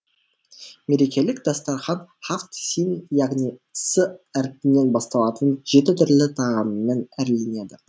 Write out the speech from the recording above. мерекелік дастархан хафт син яғни с әрпінен басталатын жеті түрлі тағаммен әрленеді